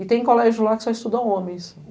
E tem colégio lá que só estuda homens.